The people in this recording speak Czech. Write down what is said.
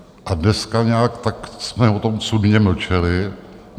A dneska nějak tak jsme o tom cudně mlčeli.